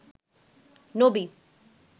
নবী